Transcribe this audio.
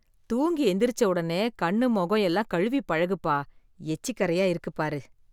தூங்கி எந்திரிச்ச உடனே கண், முகம் எல்லாம் கழுவி பழகுப்பா. எச்சிக் கறையா இருக்கு பாரு